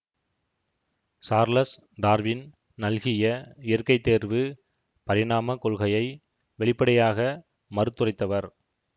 Charles Darwin நல்கிய இயற்கைத்தேர்வு பரிணாமக் கொள்கையை வெளிப்படையாக மறுத்துரைத்தவர்